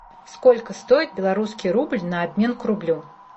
сколько стоит белорусский рубль на обмен к рублю